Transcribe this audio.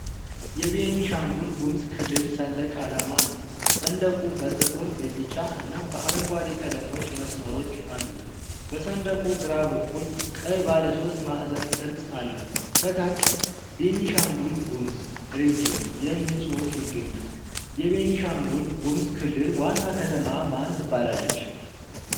የቤኒሻንጉል-ጉሙዝ ክልል ሰንደቅ አላማ ነው። ሰንደቁ በጥቁር፣ በቢጫ እና በአረንጓዴ ቀለሞች መስመሮች አሉት። በሰንደቁ ግራ በኩል ቀይ ባለሦስት ማዕዘን ቅርጽ አለው። ከታች "ቤኒሻንጉል - ጉሙዝ ሬጅን" የሚል ጽሑፍ ይገኛል። የቤኒሻንጉል-ጉሙዝ ክልል ዋና ከተማ ማን ትባላለች?